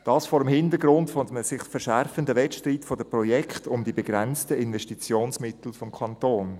Dies vor dem Hintergrund eines sich verschärfenden Wettstreits der Projekte um die begrenzten Investitionsmittel des Kantons.